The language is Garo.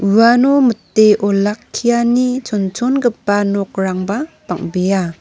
uano mite olakkiani chonchongipa nokrangba bang·bea.